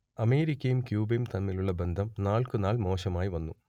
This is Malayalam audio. അമേരിക്കയും ക്യൂബയും തമ്മിലുള്ള ബന്ധം നാൾക്കുനാൾ മോശമായി വന്നു